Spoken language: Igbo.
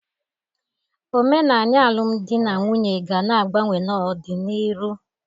Omenanị alụm dị na'nwunye ga na-agbanwe n'ọdị n'iru.